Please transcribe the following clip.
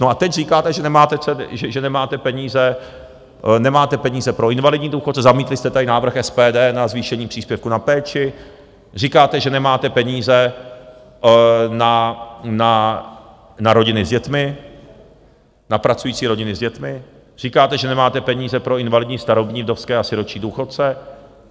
No a teď říkáte, že nemáte peníze pro invalidní důchodce, zamítli jste tady návrh SPD na zvýšení příspěvku na péči, říkáte, že nemáte peníze na rodiny s dětmi, na pracující rodiny s dětmi, říkáte, že nemáte peníze pro invalidní, starobní, vdovské a sirotčí důchodce.